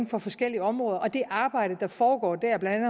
på forskellige områder og det arbejde der foregår der blandt